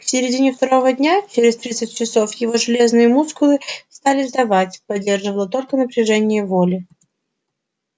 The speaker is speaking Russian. к середине второго дня через тридцать часов его железные мускулы стали сдавать поддерживало только напряжение воли